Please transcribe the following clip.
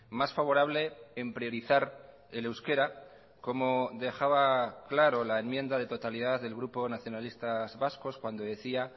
más favorable en priorizar el euskera como dejaba claro la enmienda de totalidad del grupo nacionalistas vascos cuando decía